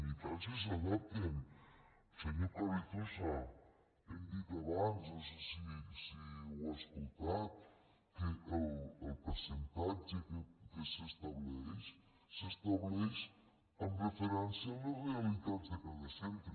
i tant si s’adapten senyor carrizosa ho hem dit abans no sé si ho ha escoltat que el percentatge que s’estableix s’estableix amb referència a les realitats de cada centre